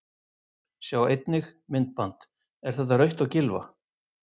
Sjá einnig: Myndband: Er þetta rautt á Gylfa?